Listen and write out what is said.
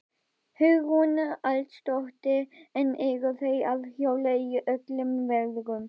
Hugrún Halldórsdóttir: En eru þau að hjóla í öllum veðrum?